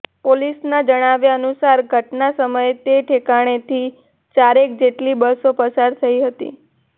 પોલીસના જણાવ્યાનુસાર ઘટના સમયે તે ઠેકાણેથી ચારેક જેટલી બસો પસાર થઇ હતી